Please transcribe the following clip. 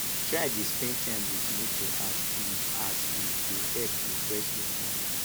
try dey spend time wit nature as e as e go help refresh yur mind